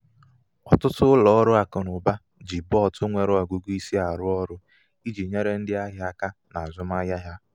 ọtụtụ ụlọ ọrụ akụnaụba ji bot nwere ọgụgụ isi arụ ọrụ i ji nyere ndị ahịa aka n' azụmahịa ha